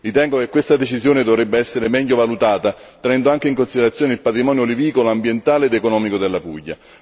Ritengo che questa decisione dovrebbe essere meglio valutata tenendo anche in considerazione il patrimonio olivicolo, ambientale ed economico della Puglia.